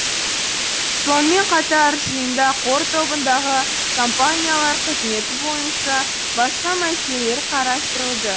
сонымен қатар жиында қор тобындағы компаниялар қызметі бойынша басқа мәселелер қарастырылды